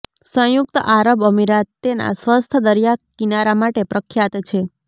સંયુક્ત આરબ અમીરાત તેના સ્વચ્છ દરિયાકિનારા માટે પ્રખ્યાત છે